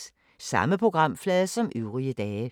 Samme programflade som øvrige dage